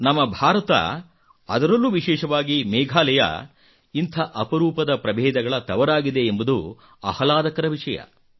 ನಮ್ಮ ಭಾರತ ಅದರಲ್ಲೂ ವಿಶೇಷವಾಗಿ ಮೇಘಾಲಯ ಇಂಥ ಅಪರೂಪದ ಪ್ರಭೇದಗಳ ತವರಾಗಿದೆ ಎಂಬುದು ಆಹ್ಲಾದಕರ ವಿಷಯ